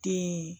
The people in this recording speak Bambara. Den